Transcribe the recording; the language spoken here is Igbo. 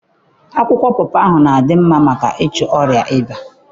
Akwụkwọ pọpọ na-adị mma maka ịchụ ọrịa ịba.